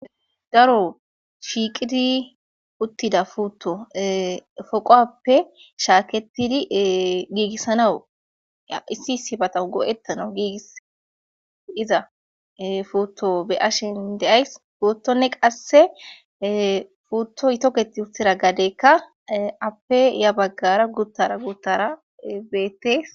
Daro shiiqidi uttida futto foqowappe shaaketidi giigissana a issi sibata go7ettana giigiss diza futto be ashen deays gootonne qasse fuutto yitoketi huttira gadeekka appe ya baggara guttara guttara beetees